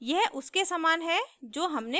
यह उसके समान है जो हमने पहले उपयोग किया